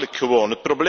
Belachelijk gewoon!